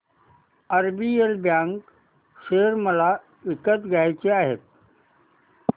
RBL bank share मला विकत घ्यायचे आहेत